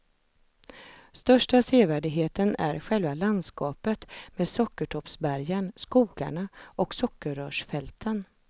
Största sevärdheten är själva landskapet med sockertoppsbergen, skogarna och sockerrörsfälten.